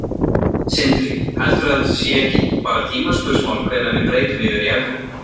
Sindri: Heldurðu að það sé ekki bara tímaspursmál hvenær við breytum yfir í evru?